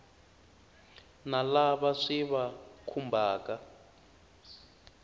na lava swi va khumbhaka